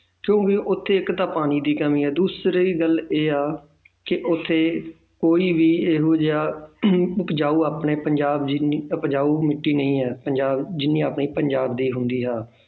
ਕਿਉਂਕਿ ਉੱਥੇ ਇੱਕ ਤਾਂ ਪਾਣੀ ਦੀ ਕਮੀ ਹੈ ਦੂਸਰੀ ਗੱਲ ਇਹ ਆ ਕਿ ਉੱਥੇ ਕੋਈ ਵੀ ਇਹ ਜਿਹਾ ਉਪਜਾਊ ਆਪਣੇ ਪੰਜਾਬ ਜਿੰਨੀ ਉਪਜਾਊ ਮਿੱਟੀ ਨਹੀਂ ਹੈ ਪੰਜਾਬ ਜਿੰਨੀ ਆਪਣੇ ਪੰਜਾਬ ਦੀ ਹੁੰਦੀ ਹੈ